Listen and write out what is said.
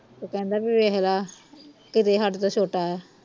ਉਹ ਕਹਿੰਦਾ ਬਈ ਵੇਖਲਾ ਕਿਤੇ ਹਾਡੇ ਤੋਂ ਛੋਟਾ ਆ